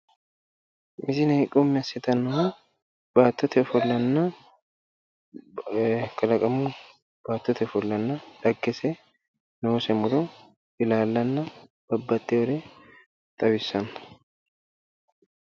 Tini misile xawissannohu kalaqamu baattote ofollo, dhaggese, noose muro, ilaallanna babbaxxinore xawissanno.